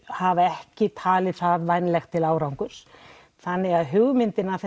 hafa ekki talið það vænlegt til árangurs þannig að hugmyndin af